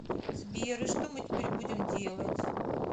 сбер и что мы теперь будем делать